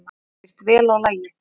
Mér líst vel á lagið.